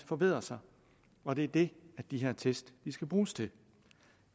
forbedre sig og det er det de her test skal bruges til